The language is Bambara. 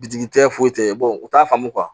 Bitigi tɛ foyi tɛ u t'a faamu